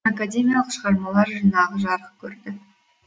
академиялық шығармалар жинағы жарық көрді